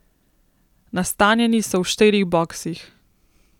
Nastanjeni so v štirih boksih.